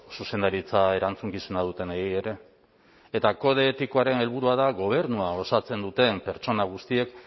zuzendaritza erantzukizuna dutenei ere eta kode etikoaren helburua da gobernua osatzen duten pertsona guztiek